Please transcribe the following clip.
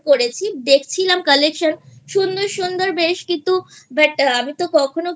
করেছি দেখছিলাম Collection সুন্দর সুন্দর বেশ কিন্তু but আমি তো কখনো